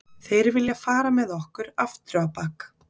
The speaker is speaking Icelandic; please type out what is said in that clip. Þeir vilja fara með okkur afturábak